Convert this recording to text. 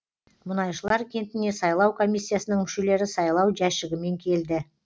мұнайшылар кентіне сайлау комиссиясының мүшелері сайлау жәшігімен келді